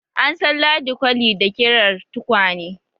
An san Ladi kwali da ƙirar tukwane.